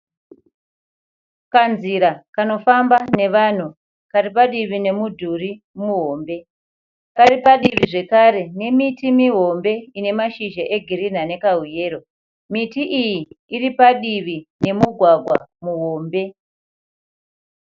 Kanzira kanofamba nevanhu karipadivi nemudhuri muhombe, karipadivi zvekare nemiti mihombe inemashizha egirinhi anekahuyero. Miti iyi iripadivi nemugwagwa muhombe.